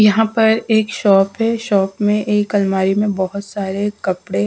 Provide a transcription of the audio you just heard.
यहां पर एक शॉप है शॉप में एक अलमारी में बहुत सारे कपड़े हैं।